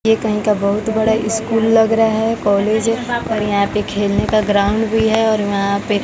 यह कहीं का बहुत बड़ा स्कूल लग रहा है कॉलेज और यहां पे खेलने का ग्राउंड भी है और यहां पे--